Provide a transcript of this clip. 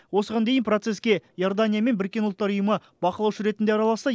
осыған дейін процеске иордания мен біріккен ұлттар ұйымы бақылаушы ретінде араласса